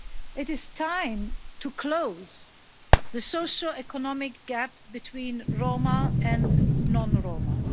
It is time to close the socio economic gap between Roma and non Roma.